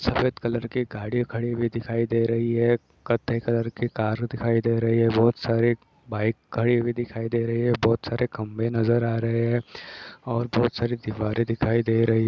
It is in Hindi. सफेद कलर की गाड़ी खड़ी हुई दिखाई दे रही हे कथ्थाई कलर की गाड़ी दिखाई दे रही हे बोहोत सारी बाइक खड़ी दिखाई दे रही है बोहोत सारे खम्बे नजर आ रहे हे ओर बोहोत सारी दीवारे दिखाई दे रही हे ।